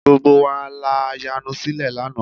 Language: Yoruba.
Gbogbo wa la yanu sílẹ̀ lánàá